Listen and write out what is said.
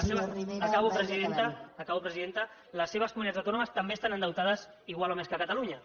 les seves acabo presidenta acabo presidenta les seves comunitats autònomes també estan endeutades igual o més que catalunya